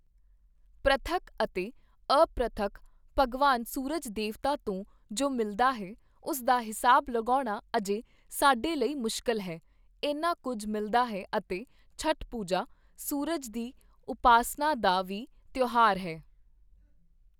ਪ੍ਰਤੱਖ ਅਤੇ ਅਪ੍ਰਤੱਖ, ਭਗਵਾਨ ਸੂਰਜ ਦੇਵਤਾ ਤੋਂ ਜੋ ਮਿਲਦਾ ਹੈ, ਉਸ ਦਾ ਹਿਸਾਬ ਲਗਾਉਣਾ ਅਜੇ ਸਾਡੇ ਲਈ ਮੁਸ਼ਕਿਲ ਹੈ, ਇੰਨਾ ਕੁੱਝ ਮਿਲਦਾ ਹੈ ਅਤੇ ਛਠ ਪੂਜਾ, ਸੂਰਜ ਦੀ ਉਪਾਸਨਾ ਦਾ ਵੀ ਤਿਉਹਾਰ ਹੈ।